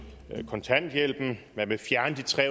kontanthjælpen